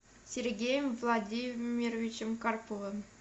сергеем владимировичем карповым